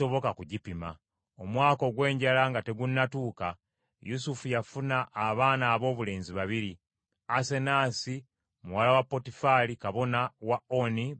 Omwaka ogw’enjala nga tegunnatuuka Yusufu yafuna abaana aboobulenzi babiri, Asenaasi, muwala wa Potiferi kabona wa Oni be yamuzaalira.